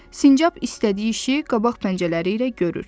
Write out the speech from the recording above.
Sincab istədiyi işi qabaq pəncələri ilə görür.